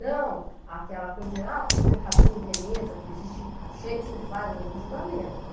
Não aquela coisa de, ah, porque o mercador em Veneza, porque existe o Shakespeare faz um julgamento.